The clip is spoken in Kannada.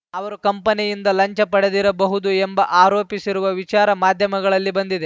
ಅವರು ಕಂಪನಿಯಿಂದ ಲಂಚ ಪಡೆದಿರಬಹುದು ಎಂಬ ಆರೋಪಿಸಿರುವ ವಿಚಾರ ಮಾಧ್ಯಮಗಳಲ್ಲಿ ಬಂದಿದೆ